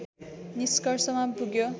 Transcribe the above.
निष्कर्षमा पुग्यो